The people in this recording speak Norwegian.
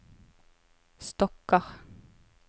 stokker